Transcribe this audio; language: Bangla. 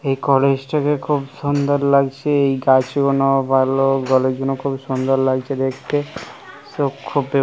এই কলেজ টাকে খুব সুন্দর লাগছে এই গাছগুলোর খুব সুন্দর লাগছে দেখতে। চোখ খুব --